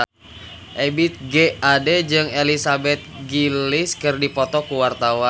Ebith G. Ade jeung Elizabeth Gillies keur dipoto ku wartawan